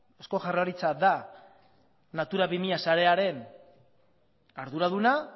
eusko jaurlaritza da natura bi mila sarearen arduraduna